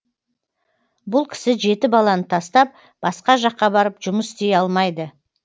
бұл кісі жеті баланы тастап басқа жаққа барып жұмыс істей алмайды